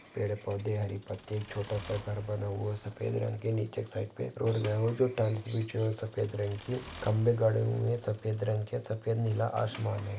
पेड़ पौधे हरी पत्ते एक छोटासा घर बना हुवा सफ़ेद रंग के नीचे एक साईड पे रोड गया वो नीचे टाइल्स बिछे हुए है सफ़ेद रंग की खंबे गाड़े हुए है। सफ़ेद रंग के सफ़ेद नीला आसमान है।